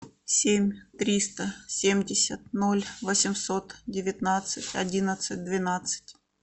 семь триста семьдесят ноль восемьсот девятнадцать одиннадцать двенадцать